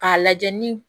K'a lajɛ ni